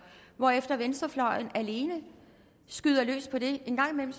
hvorefter venstrefløjen alene skyder løs på det en gang imellem